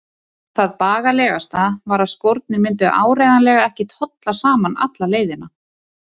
En það bagalegasta var að skórnir myndu áreiðanlega ekki tolla saman alla leiðina.